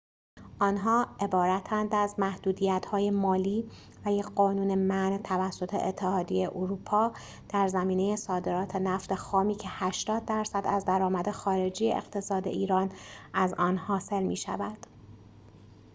آنها عبارتند از محدودیت‌های مالی و یک قانون منع توسط اتحادیه اروپا در زمینه صادرات نفت خامی که ۸۰% از درآمد خارجی اقتصاد ایران از آن حاصل می‌شود